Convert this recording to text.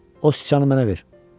O sıçanı mənə ver.